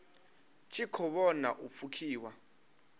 tshi khou vhona u pfukiwa